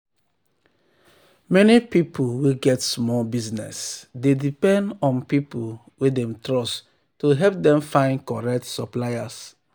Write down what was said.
many pipu wey get small business dey depend on pipu wey dem trust to help them find correct suppliers.